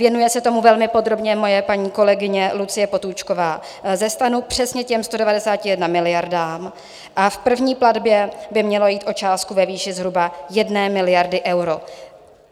Věnuje se tomu velmi podrobně moje paní kolegyně Lucie Potůčková ze STAN, přesně těm 191 miliardám, a v první platbě by mělo jít o částku ve výši zhruba 1 miliardy euro.